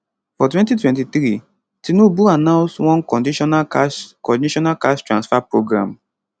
for 2023tinubu announceone conditional cash conditional cash transfer programme